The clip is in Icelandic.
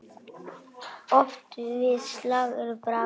Oft við slag er bragur.